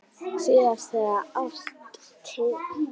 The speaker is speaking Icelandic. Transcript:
Síðast þegar sást til